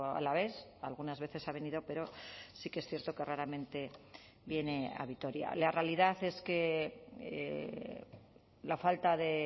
alavés algunas veces ha venido pero sí que es cierto que raramente viene a vitoria la realidad es que la falta de